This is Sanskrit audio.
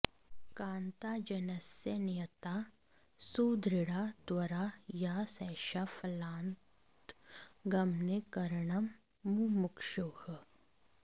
कान्ताजनस्य नियता सुदृढा त्वरा या सैषा फलान्तगमने करणं मुमुक्षोः